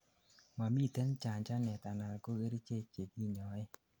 momiten chanchanet anan ko kerichek chekinyoen